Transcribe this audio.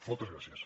moltes gràcies